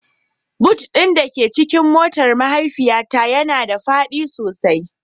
Boot ɗin da ke cikin motar mahaifiyata yana da faɗi sosai